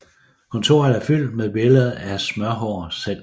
Kontoret er fyldt med billede af Smørhår selv